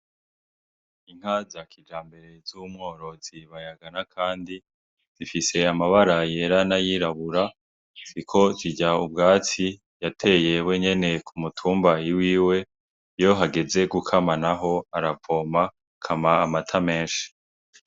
Inka za kijambere z’umworozi Bayaganakandi zifise amabara yera n’ayirabura, ziriko zirya ubwatsi yateye we nyene ku mutumba iwiwe , Iyo hageze gukamwa naho aravoma ikamwa amata menshi.